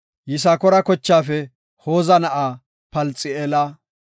Yisakoora kochaafe Hooza na7aa Palxi7eela;